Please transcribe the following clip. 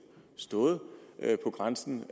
stået på grænsen